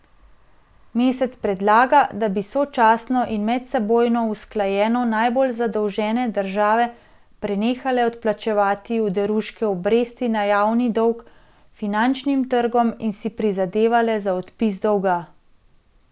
Mesec predlaga, da bi sočasno in medsebojno usklajeno najbolj zadolžene države prenehale odplačevati oderuške obresti na javni dolg finančnim trgom in si prizadevale za odpis dolga.